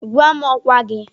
Gwa m ọkwa gị.